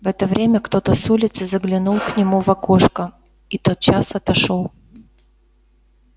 в это время кто-то с улицы заглянул к нему в окошко и тотчас отошёл